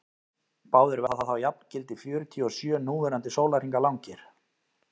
báðir verða þá jafngildi fjörutíu og sjö núverandi sólarhringa langir